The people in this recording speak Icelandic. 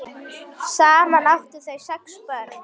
Saman áttu þau sex börn.